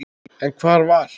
En hvar var